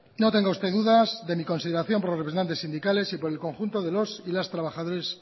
no tenga usted dudas de mi consideración por los representantes sindicales y por el conjunto de los y las trabajadores